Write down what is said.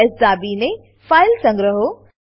CtrlS દાબીને file સંગ્રહો